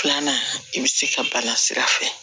Filanan i bɛ se ka bana sira fɛ